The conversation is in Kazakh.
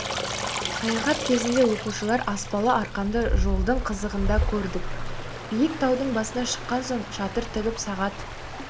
саяхат кезінде оқушылар аспалы арқанды жолдың қызығында көрді биік таудың басына шыққан соң шатыр тігіп сағат